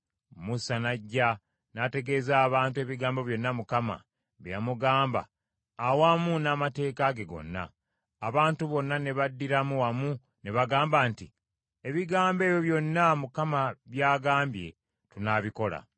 Musa n’ajja n’ategeeza abantu ebigambo byonna Mukama bye yamugamba awamu n’amateeka ge gonna. Abantu bonna ne baddiramu wamu ne bagamba nti, “Ebigambo ebyo byonna Mukama by’agambye tunaabikola.”